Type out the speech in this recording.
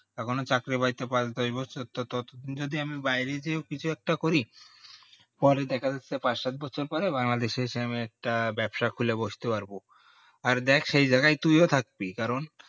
যখনই চাকরি বাকরি পাইবো ততদিনে আমি বাইরে কিছু একটা করি পরে দেখা যাচ্ছে পাঁচ সাত বছর পরে বাংলাদেশ এসে আমি একটা ব্যাবসা খুলে বসতে পারবো আর সেই জায়গায় তুইও থাকবি কারণ